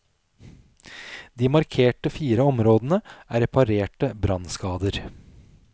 De markerte fire områdene er reparerte brannskader.